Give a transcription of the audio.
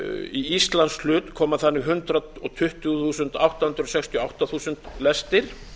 í íslands hlut koma þannig hundrað tuttugu þúsund átta hundruð sextíu og átta þúsund lestir